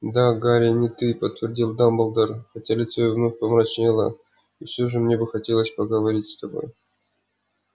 да гарри не ты подтвердил дамблдор хотя лицо его вновь помрачнело и всё же мне бы хотелось поговорить с тобой